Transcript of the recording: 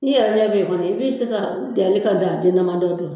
Ni yɛrɛ ɲɛ bɛ yen kɔni i bɛ se ka danni ka dan den dama dɔ